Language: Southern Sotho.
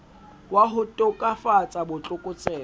wa ho tokafatsa bo tlokotsebe